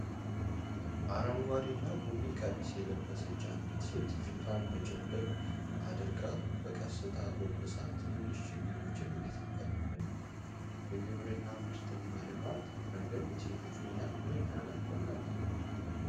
አረንጓዴና ቡኒ ቀሚስ የለበሰች አንዲት ሴት ፊቷን ጭንብል አድርጋ በቀስታ አጎንብሳ ትንንሽ ችግኞችን እየተከለች ነው። በግብርና ምርትና ልማት ረገድ የሴቶች ሚና ምን ያህል አስፈላጊ ነው?